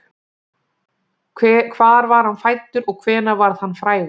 Hvar var hann fæddur og hvenær varð hann frægur?